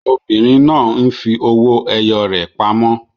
Obìnrin náà ń fi owó ẹyọ rẹ̀ pamọ́.